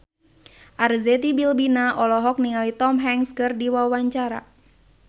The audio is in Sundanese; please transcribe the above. Arzetti Bilbina olohok ningali Tom Hanks keur diwawancara